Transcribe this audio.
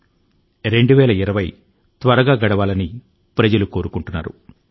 ఈ సంవత్సరం ఎలాగో అలాగా తొందర గా గడిస్తే చాలని ప్రజలు కోరుకుంటున్నారు